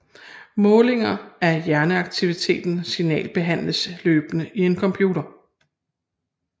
Målinger af hjerneaktiviteten signalbehandles løbende i en computer